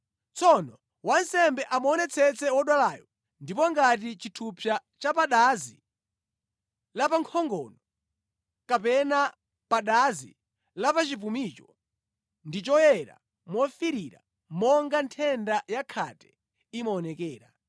Tsono wansembe amuonetsetse wodwalayo ndipo ngati chithupsa cha pa dazi lapankhongo kapena pa dazi lapachipumicho ndi choyera mofiirira monga nthenda ya khate imaonekera,